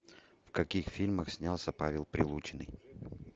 в каких фильмах снялся павел прилучный